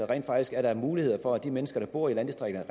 rent faktisk er muligheder for at de mennesker der bor i landdistrikterne